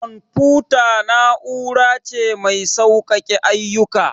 Confuta na'ura ce mai sauƙake ayyuka.